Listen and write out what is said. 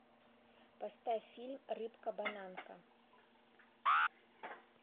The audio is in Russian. поставь фильм рыбка бананка